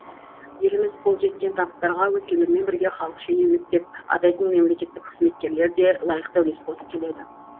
еліміз қол жеткен табыстарға өзгелермен бірге халық шенеунік деп атайтын мемлекеттік қызметкерлер де лайықты үлес қосып келеді